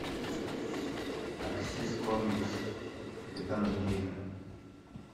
аксис комикс капитан америка